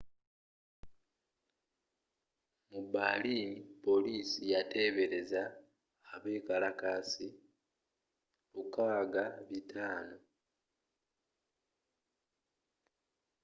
mu berlin poliisi yatebereza abekalakaasi 6500